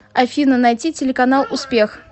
афина найти телеканал успех